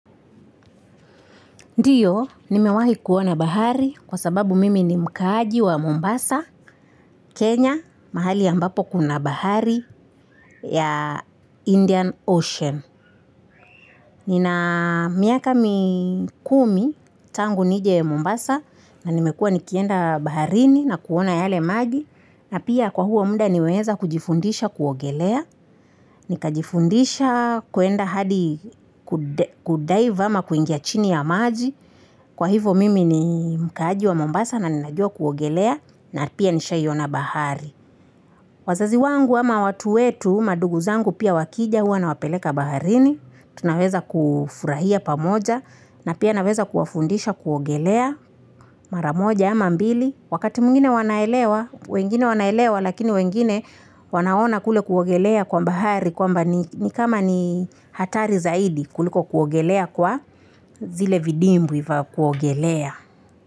Ndiyo, nimewahi kuona bahari kwa sababu mimi ni mkaji wa Mombasa, Kenya, mahali ambapo kuna bahari ya Indian Ocean. Nina miaka mi kumi tangu nije ya Mombasa na nimekua nikienda baharini na kuona yale magi. Na pia kwa huo muda niweza kujifundisha kuogelea. Nikajifundisha kuenda hadi kudai vama kuingia chini ya maji. Kwa hivo mimi ni mkaji wa Mombasa na ninajua kuogelea na pia nishayona bahari. Wazazi wangu ama watu wetu madugu zangu pia wakija hua na wapeleka baharini. Tunaweza kufurahia pamoja na pia naweza kuafundisha kuogelea maramoja ama mbili. Wakati mungine wanaelewa, wengine wanaelewa lakini wengine wanaona kule kuogelea kwa bahari. Kwa mba ni kama ni hatari zaidi kuliko kuogelea kwa zile vidimbi kwa kuogelea.